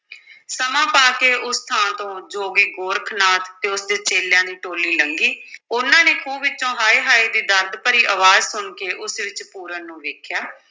ਸਮਾਂ ਪਾ ਕੇ ਉਸ ਥਾਂ ਤੋਂ ਜੋਗੀ ਗੋਰਖ ਨਾਥ ਅਤੇ ਉਸਦੇ ਚੇਲਿਆਂ ਦੀ ਟੋਲੀ ਲੰਘੀ ਉਨ੍ਹਾਂ ਨੇ ਖੂਹ ਵਿੱਚੋਂ ਹਾਏ ਹਾਏ ਦੀ ਦਰਦ ਭਰੀ ਅਵਾਜ਼ ਸੁਣ ਕੇ ਉਸ ਵਿੱਚ ਪੂਰਨ ਨੂੰ ਵੇਖਿਆ।